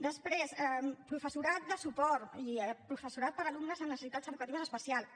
després professorat de suport i professorat per a alumnes amb necessitats educatives especials